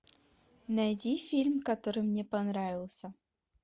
найди фильм который мне понравился